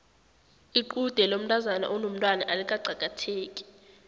lqude lomntazana onomtwana alikaqakatheki